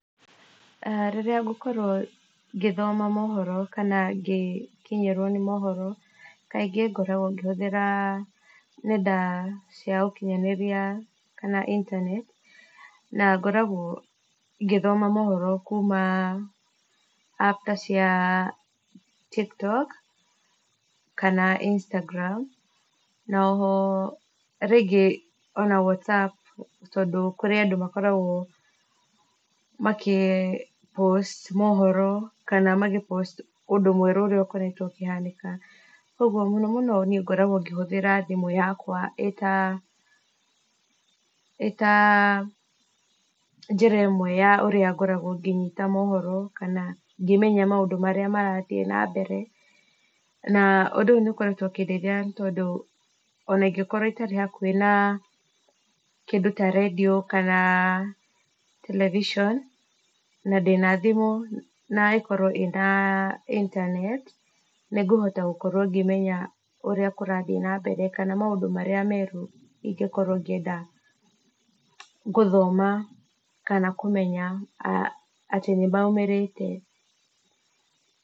Rĩrĩa ngũkorwo ngĩthoma moohoro, kana ngĩkinyĩrwo nĩ moohoro, kaingĩ ngoragwo ngĩhũthĩra nenda cia ũkinyanĩria , kana intaneti, na ngoragwo ngĩthoma moohoro kuma apu ta cia, Tiktok kana Instagram , na oho rĩngĩ ona Whatsapp, tondũ kũrĩ andũ makoragwo makĩ post moohoro, kana magĩ post ũndũ mweru ũrĩa ũkoretwo ũkĩhanĩka, ũgwo mũno mũno niĩ ngoragwo ngĩhũthĩra thimũ yakwa, ĩta ĩta njĩra ĩmwe ya ũrĩa ngoragwo ngĩnyita moohoro, kana ngĩmenya maũndũ marĩa marathiĩ na mbere, na ũndũ ũyũ nĩ ũkoretwo ũkĩndeithia tondũ ona ingĩkorwo itarĩ hakuhĩ na kĩndũ ta redio, kana television na ndĩna thimũ na ĩkorwo ĩna intanet , nĩngũhota gũkorwo ngĩmenya ũrĩa kũrathiĩ na mbere, kana maũndũ marĩa meru ingĩkorwo ngĩenda gũthoma , kana kũmenya atĩ nĩ maumĩrĩte.